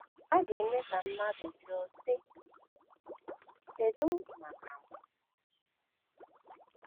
A ga - eme ka mmadụ jụọ, sị: ‘ Kedu maka m m ?’